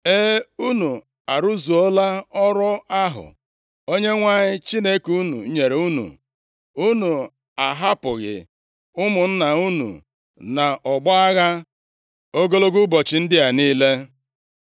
E, unu arụzuola ọrụ ahụ Onyenwe anyị Chineke unu nyere unu. Unu ahapụghị ụmụnna unu nʼọgbọ agha ogologo ụbọchị ndị a niile.